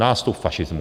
Nástup fašismu!